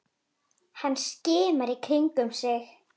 Hann skimaði í kringum sig.